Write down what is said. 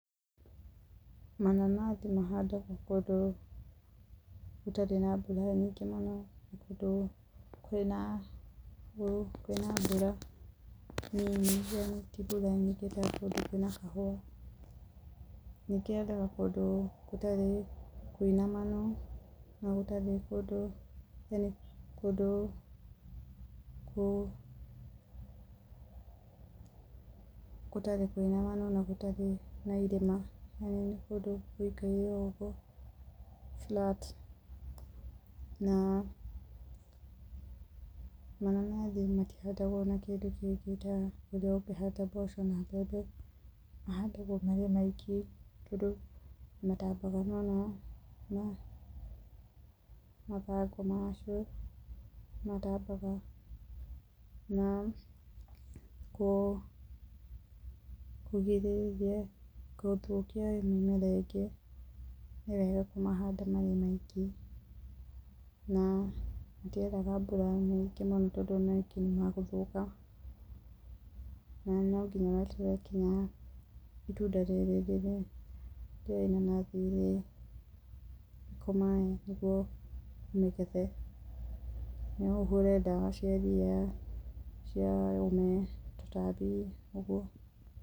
Mananathi mahandagwo kũndũ, gũtarĩ na mbura nyingĩ mũno, kũndũ kwĩna mbura nini ti mbura nyingĩ na kũndũ kwĩna kahũa, ningĩ yendaga kũndũ gũtarĩ kũinamanu na gũtarĩ na irĩma na nĩ kũndũ gũikaire o ũguo flat na mananathi matihandagwo na kĩndũ kĩngĩ ta ũrĩa ũngĩhanda mboco na mbembe mahandagwo marĩ o maiki, tondũ nĩ matambaga mũno na mathangũ macio nĩ matambaga na kũgirĩrĩria gũthũkio nĩ mĩmera ĩngĩ nĩwega kũmahanda marĩ maiki, na matiendaga mbura nyingĩ mũno, tondũ o na rĩngĩ nĩ magũthũka, na nonginya weterere nginya itunda rĩrĩ rĩa inanathi rĩkomae nĩguo ũrĩgethe, no ũhũre ndawa cia ria, cia ũme, tũtambi, ũguo.